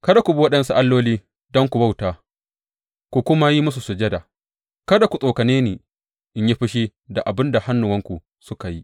Kada ku bi waɗansu alloli don ku bauta ku kuma yi musu sujada; kada ku tsokane ni in yi fushi da abin da hannuwanku suka yi.